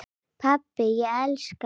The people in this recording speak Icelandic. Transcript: Pabbi, ég elska þig.